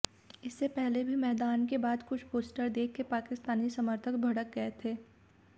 इससे पहले भी मैदान के बाद कुछ पोस्टर देखकर पाकिस्तानी समर्थक भड़क गए थे